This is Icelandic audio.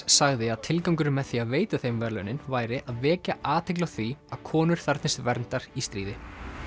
sagði að tilgangurinn með því að veita þeim verðlaunin væri að vekja athygli á því að konur þarfnist verndar í stríði